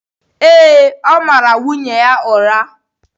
Ee, ọ mara nwunye ya ụra.